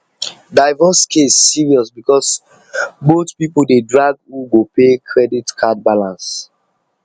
divorce case serious because both people dey drag who go pay credit card balance